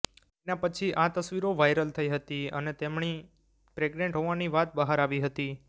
તેના પછી આ તસ્વીરો વાયરલ થઈ હતી અને તેમણી પ્રેગ્નેન્ટ હોવાની વાત બહાર આવી હતી